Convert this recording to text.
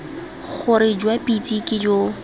gore jwa pitse ke jo